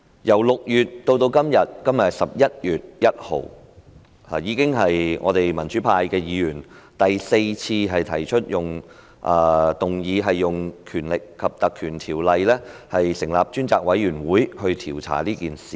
由6月至今天11月1日，民主派議員已經是第四次提出議案，希望引用《條例》成立專責委員會調查這件事。